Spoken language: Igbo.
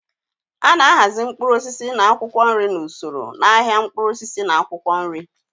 A na-ahazi mkpụrụ osisi na akwụkwọ nri n'usoro n'ahịa mkpụrụ osisi na akwụkwọ nri.